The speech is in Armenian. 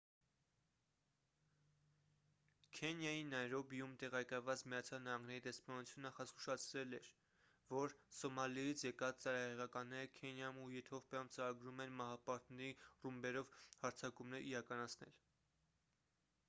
քենիայի նայրոբիում տեղակայված միացյալ նահանգների դեսպանությունը նախազգուշացրել է որ․«սոմալիից եկած ծայրահեղականները» քենիայում ու եթովպիայում ծրագրում են մահապարտների ռումբերով հարձակումներ իրականացնել։